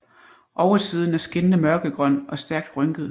Oversiden er skinnende mørkegrøn og stærkt rynket